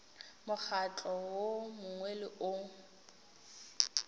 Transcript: mokgatlo wo mongwe le wo